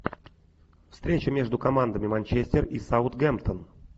встреча между командами манчестер и саутгемптон